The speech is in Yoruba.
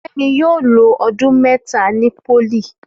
Fẹ́mi yóò lo ọdún mẹ́ta ni pólì